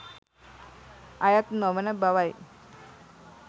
අයත් නොවන බවයි